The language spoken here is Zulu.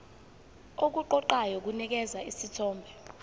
okuqoqayo kunikeza isithombe